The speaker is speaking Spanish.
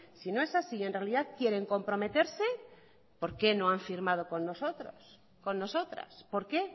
si no es así y en realidad quieren comprometerse por qué no han firmado con nosotros con nosotras por qué